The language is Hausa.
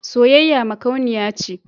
Soyayya makauniya ce.